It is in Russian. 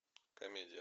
комедия